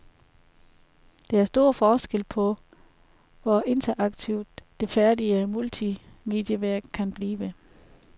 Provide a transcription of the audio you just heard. Der er stor forskel på, hvor interaktivt, det færdige multimedieværk kan blive.